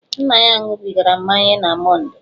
Nna ya ṅụbigara mmanya na Mondee.